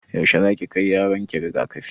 Yaushe zaki kai yaron ki rigakafi?